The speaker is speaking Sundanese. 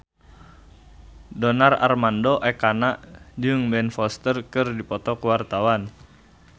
Donar Armando Ekana jeung Ben Foster keur dipoto ku wartawan